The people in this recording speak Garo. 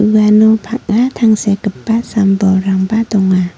uano bang·a tangsekgipa sam bolrangba donga.